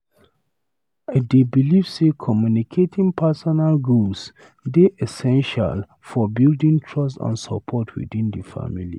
I dey believe say communicating personal goals dey essential for building trust and support within the family.